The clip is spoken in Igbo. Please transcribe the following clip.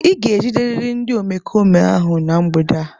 Ị ga-ejiderịrị ndị omekome ahụ na mgbede a.